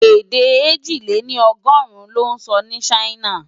Edé èjì lé ní ọ́ọ̀dúnrún lò nsò ni Ṣaina